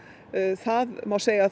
það má segja að